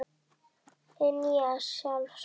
Hið nýja sjálf spyr